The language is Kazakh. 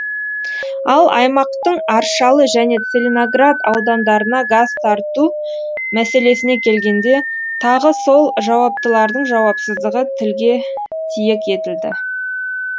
ал аймақтың аршалы және целиноград аудандарына газ тарту мәселесіне келгенде тағы сол жауаптылардың жауапсыздығы тілге тиек етілді